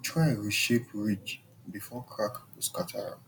try reshape ridge before crack go scatter am